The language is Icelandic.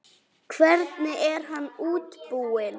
Hvernig er hann útbúinn?